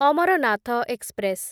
Amarnath express